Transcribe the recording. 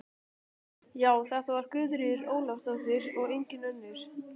Já, þetta var Guðríður Ólafsdóttir og engin önnur!